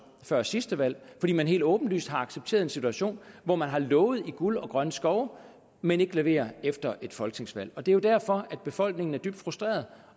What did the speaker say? før sidste valg fordi man helt åbenlyst har accepteret en situation hvor man har lovet guld og grønne skove men ikke leverer efter et folketingsvalg det er jo derfor at befolkningen er dybt frustreret